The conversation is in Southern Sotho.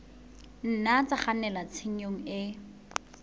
nna tsa kgannela tshenyong e